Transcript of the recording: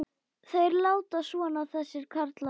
Þeir láta svona þessir karlar.